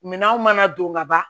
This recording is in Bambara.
Minanw mana don ka ban